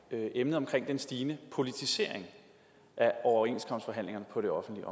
jo emnet omkring den stigende politisering af overenskomstforhandlingerne på det offentlige